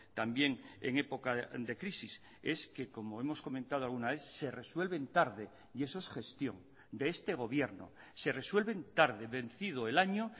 también en época de crisis es que como hemos comentado alguna vez se resuelven tarde y eso es gestión de este gobierno se resuelven tarde vencido el año